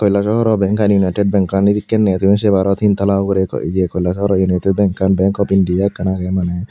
helasorow benkan united benkan edekkenney tumi sumi paro tin tala ugurey ye kolkaro unituy benkan bank of india agey maneh.